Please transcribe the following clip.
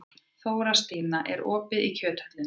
Þórstína, er opið í Kjöthöllinni?